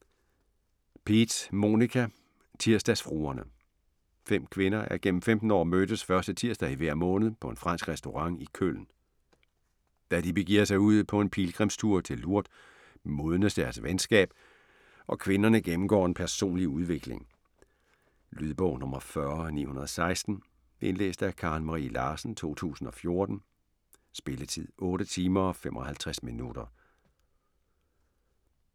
Peetz, Monika: Tirsdagsfruerne Fem kvinder er gennem 15 år mødtes første tirsdag i hver måned på en fransk restaurant i Køln. Da de begiver sig ud på en pilgrimstur til Lourdes, modnes deres venskab, og kvinderne gennemgår en personlig udvikling. Lydbog 40916 Indlæst af Karen Marie Larsen, 2014. Spilletid: 8 timer, 55 minutter.